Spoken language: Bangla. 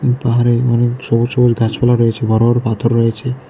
এই পাহাড়ে অনেক সবুজ সবুজ গাছপালা রয়েছে বড়ো বড়ো পাথর রয়েছে।